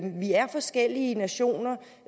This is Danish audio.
vi er forskellige nationer og